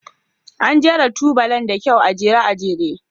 An jera tubalan da kyau, a jere a jere.